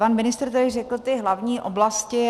Pan ministr tady řekl ty hlavní oblasti.